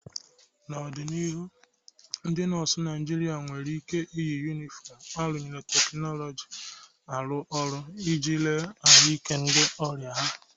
N'ọdịnihu, ndị nọọsụ na Naịjirịa nwere ike iyi yunifọmụ arunyere teknuzu arụ ọrụ iji lelee ahụike ndị ọrịa ha.